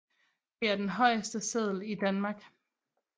Det er den højeste seddel i Danmark